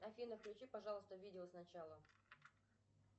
афина включи пожалуйста видео сначала